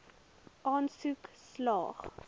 aansoek slaag